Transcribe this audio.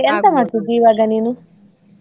ಎಂತ ಮಾಡ್ತಿದ್ದಿ ಈವಾಗ ನೀನು?